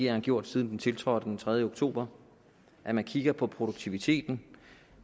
har gjort siden den tiltrådte den tredje oktober at man kigger på produktiviteten